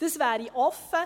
Dies wäre offen.